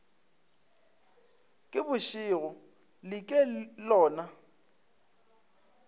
ke bošego le ke lona